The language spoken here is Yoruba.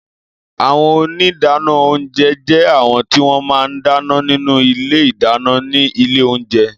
Àwõn óní ìdánõ ounjé jé àwõn ti wõn má n dánõ ninú ìlé ìdáñõ ni ìlé ounjé